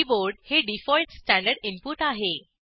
keyboard हे default standard input आहे